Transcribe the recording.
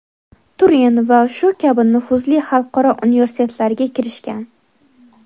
Turin va shu kabi nufuzli xalqaro universitetlarga kirishgan.